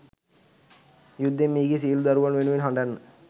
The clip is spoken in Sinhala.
යුද්ධයෙන් මියගිය සියළු දරුවන් වෙනුවෙන් හඬන්න.